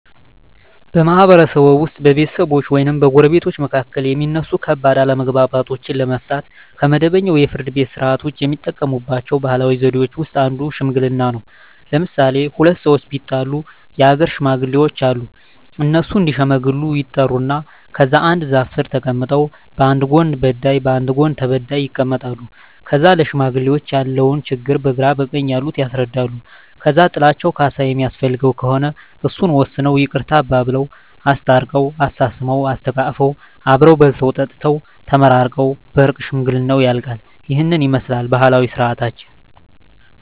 በማህበረሰብዎ ውስጥ በቤተሰቦች ወይም በጎረቤቶች መካከል የሚነሱ ከባድ አለመግባባቶችን ለመፍታት (ከመደበኛው የፍርድ ቤት ሥርዓት ውጪ) የሚጠቀሙባቸው ባህላዊ ዘዴዎች ውስጥ አንዱ ሽምግልና ነው። ለምሣሌ፦ ሁለት ሠዎች ቢጣሉ የአገር ሽማግሌዎች አሉ። እነሱ እዲሸመግሉ ይጠሩና ከዛ አንድ ዛፍ ስር ተቀምጠው በአንድ ጎን በዳይ በአንድ ጎን ተበዳይ ይቀመጣሉ። ከዛ ለሽማግሌዎች ያለውን ችግር በግራ በቀኝ ያሉት ያስረዳሉ። ከዛ ጥላቸው ካሣ የሚያስፈልገው ከሆነ እሱን ወስነው ይቅርታ አባብለው። አስታርቀው፤ አሳስመው፤ አሰተቃቅፈው አብረው በልተው ጠጥተው ተመራርቀው በእርቅ ሽምግልናው ያልቃ። ይህንን ይመስላል ባህላዊ ስርዓታችን።